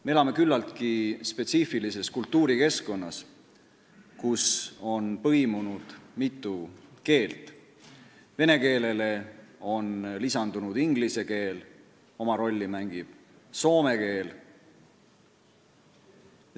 Me elame küllaltki spetsiifilises kultuurikeskkonnas, kus on põimunud mitu keelt: vene keelele on lisandunud inglise keel, oma rolli mängib soome keel.